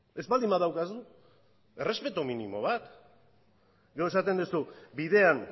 ez baldin badaukazu errespetu minimo bat gero esaten duzu bidean